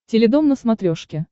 теледом на смотрешке